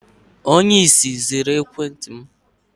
Onye ìsì zuru ekwentị m